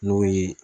N'o ye